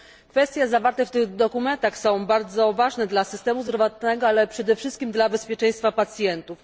Kwestie zawarte w tych dokumentach są bardzo ważne dla systemu zdrowotnego, ale przede wszystkim dla bezpieczeństwa pacjentów.